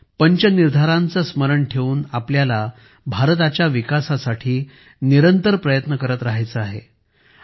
आपल्याला पंच निर्धारांचे स्मरण ठेवून भारताच्या विकासासाठी निरंतर प्रयत्न करत राहायचे आहे